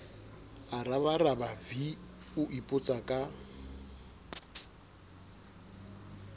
a rabaraba v o ipotsaka